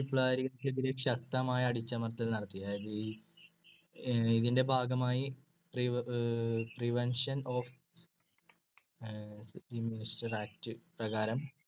വിപ്ലവക്കാരികൾക്കെതിരെയായി ശക്തമായ അടിച്ചമർത്തൽ നടത്തി. അതയതി~ അഹ് ഇതിന്‍ടെ ഭാഗമായി prevention of act പ്രകാരം